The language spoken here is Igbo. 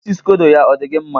Isi scodo ya, ọ dị gị mma?